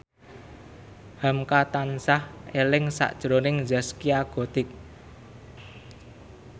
hamka tansah eling sakjroning Zaskia Gotik